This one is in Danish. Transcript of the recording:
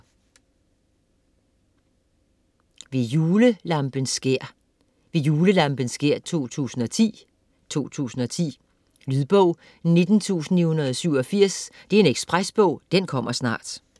Ved julelampens skær: Ved julelampens skær 2010 2010. Lydbog 19987 Ekspresbog - kommer snart